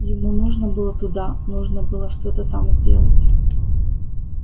ему нужно было туда нужно было что-то там сделать